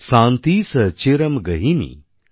শান্তিস্ চিরম্ গেহিনী